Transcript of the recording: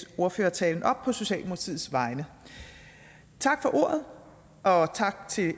ordførertalen op på socialdemokratiets vegne tak for ordet og tak til